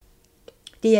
DR1